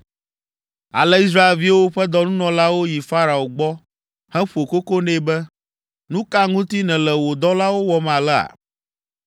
Ale Israelviwo ƒe dɔnunɔlawo yi Farao gbɔ heƒo koko nɛ be, “Nu ka ŋuti nèle wò dɔlawo wɔm alea?